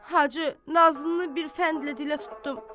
Hacı, nazlını bir fəndlə dilə tutdum.